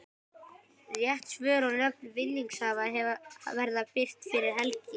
Rétt svör og nöfn vinningshafa verða birt fyrir helgi.